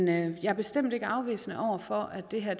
jeg er bestemt ikke afvisende over for at det her